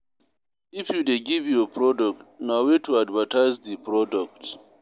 If you de give your product, na way to advertise di product